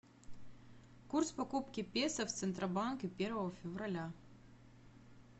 курс покупки песо в центробанке первого февраля